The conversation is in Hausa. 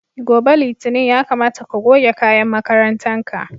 Gobe Litinin ya kamata ka goge kayan makarantan ka.